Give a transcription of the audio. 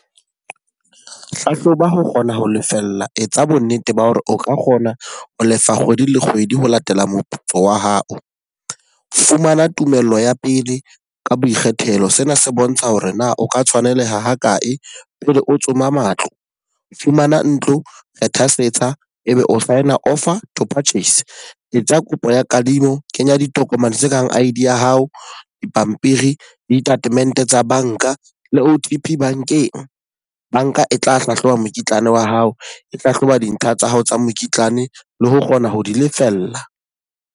Hlahloba ho kgona ho lefella, etsa bo nnete ba hore o ka kgona ho lefa kgwedi le kgwedi ho latela moputso wa hao. Fumana tumello ya pele ka boikgethelo, sena se bontsha hore na o ka tshwaneleha ha kae pele o tsoma matlo. Fumana ntlo, ethasetsa, e be o sign-a offer to purchase. Etsa kopo ya kadimo, kenya ditokomane tse kang I_D ya hao, dipampiri, ditatemente tsa banka le O_T_P bankeng. Banka e tla hlahloba mokitlane wa hao e hlahloba dintlha tsa hao tsa mokitlane le ho kgona ho di lefella.